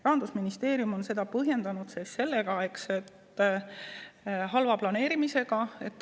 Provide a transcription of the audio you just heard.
Rahandusministeerium on seda põhjendanud halva planeerimisega.